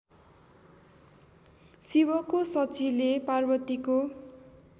शिवको शचीले पार्वतीको